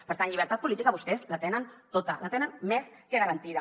per tant llibertat política vostès la tenen tota la tenen més que garantida